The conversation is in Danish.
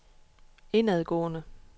indadgående